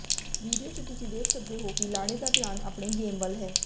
video ਚ ਤੁੱਸੀ ਵੇਖ ਸਕਦੇ ਹੋਏ ਕਿ ਲਾੜੇ ਦਾ ਧਿਆਨ ਆਪਣੇ ਗੇਮ ਵੱਲ ਹੈ